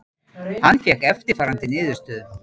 Hann fékk eftirfarandi niðurstöðu: